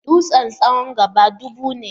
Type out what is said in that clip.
Dutsen tsawon gaba dubu ne.